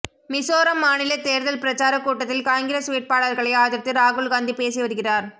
மிசோரம் மாநில தேர்தல் பிரச்சாரக் கூட்டத்தில் காங்கிரஸ் வேட்பாளர்களை ஆதரித்து ராகுல் காந்தி பேசி வருகிறார்